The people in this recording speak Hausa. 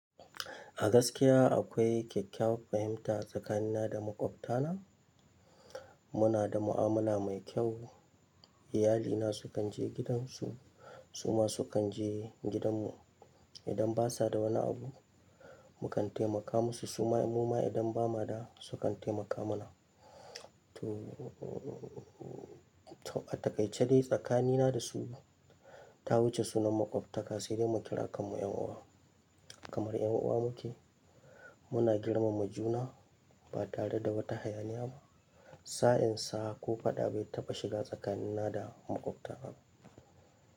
A gaskiya akwai kyakkyawar fahimta tsakanina da maƙwabtana. Muna da mu'amala mai kyau. Iyali na sukan je gidansu su ma sukan je gidanmu. Idan basa da wani abu, mukan taimaka musu, su ma idan ba mu da sukan taimaka mana. To a takaice dai tsakanina da su ta wuce sunan makwabtaka, sai dai mu kira kanmu ƴan uwa. Kamar ƴan uwa muke, muna girmama juna ba tare da wata hayaniya ba. Sa'in sa ko faɗa bai taɓa shiga tsakanina da maƙwabtana ba.